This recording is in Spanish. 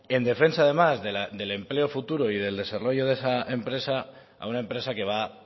en defensa además del empleo futuro y del desarrollo de esa empresa a una empresa que va